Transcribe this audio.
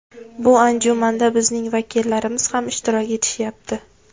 Bu anjumanda bizning vakillarimiz ham ishtirok etishyapti.